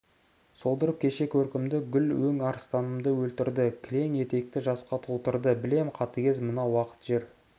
солдырып кеше көркімді гүл өң арыстарымды өлтірді кілең етекті жасқа толтырды білем қатыгез мына уақыт жер